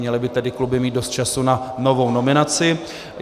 Měly by tedy kluby mít dost času na novou nominaci.